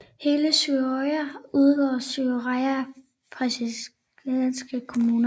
Hele Suðuroy udgjorde Suðuroyar prestagjalds kommuna